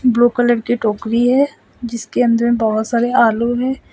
Blue colour की टोकरी है जिसके अंदर में बहोत सारे आलू है।